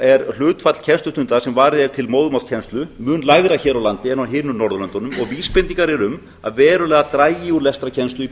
er hlutfall kennslustunda sem varið er til móðurmálskennslu mun lægra hér á landi en á hinum norðurlöndunum og vísbendingar eru um að verulega dragi úr lestrarkennslu í